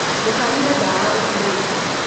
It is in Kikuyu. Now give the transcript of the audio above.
Ndũkanyue ndawa ũtarĩte.